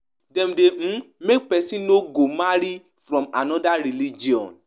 Dem de teach pipo wetin teach pipo wetin be their role in di marriage